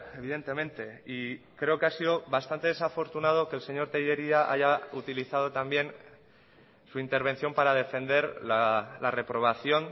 evidentemente y creo que ha sido bastante desafortunado que el señor tellería haya utilizado también su intervención para defender la reprobación